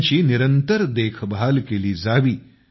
त्यांची निरंतर देखभाल केली जावी